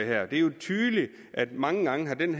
er jo tydeligt at mange gange har den